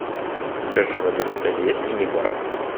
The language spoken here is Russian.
скажи в этом отеле есть мини бар